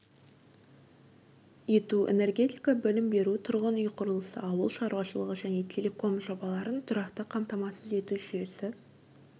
ету энергетика білім беру тұрғын-үй құрылысы ауыл шаруашылығы және телеком жобаларын тұрақты қамтамасыз ету жүйесі